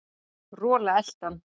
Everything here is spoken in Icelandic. Rola elti hann.